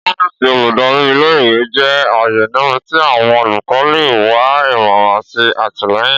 Ọfíìsì oludari íle- ìwe jẹ aaye nibiti awọn olùkọ le wa imọran ati àtìlẹ́yìn.